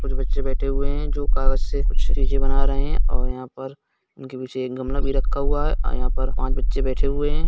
कुछ बच्चे बैठे हैं जो कागज से कुछ चीजें बना रहे हैं और यहा पर उनके पीछे एक गमला भी रखा हुआ है अ यहा पर पांच बच्चे बैठे हुए हैं।